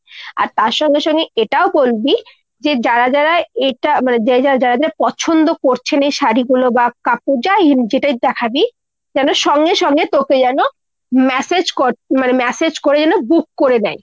আর তার সঙ্গে সঙ্গে এটাও বলবি যে যারা যারা এটা মানে যারা যারা পছন্দ করছেন এই শাড়ীগুলো বা কাপড় যাই যেটাই দেখাবি, যেন সঙ্গে সঙ্গে তোকে যেন massage মানে massage করে যেন book করে দেয়।